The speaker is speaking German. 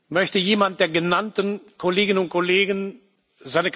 Möchte jemand der genannten Kolleginnen und Kollegen seine bzw.